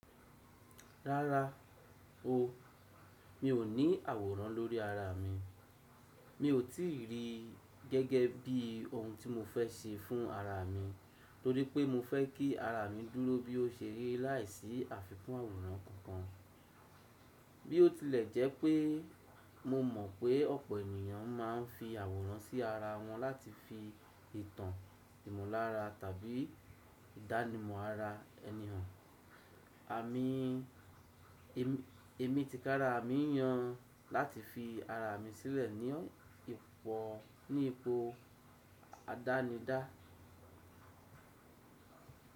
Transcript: Rárá o, mi ò ní àwòrán lórí ara mi. Mi ò tí ì rí gẹ́gẹ́ bí ohun tí mo fẹ́ ṣe fún ara mi, torí pé mo fẹ́ kí ara mi dúró bí ó ṣe rí láìsí àfikún àwòrán kankan. Bí ó tilẹ̀ jẹ́ pé mo mọ̀ pé ọ̀pọ̀ ènìyàn máa ń fi àwòrán sí ara wọn láti fi ìtàn ìmọ̀lára tàbí ìdánimọ̀ ara ẹni hàn. Àmi, èmi tikára mi yan láti fi ara mi sílẹ̀ ní ipò àdánidá.